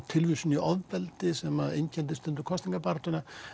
tilvísun í ofbeldi sem einkenndi stundum kosningabaráttuna